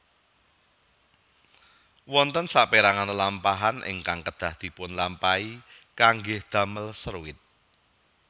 Wonten sapérangan lelampahan ingkang kedah dipunlampahi kangge damel seruit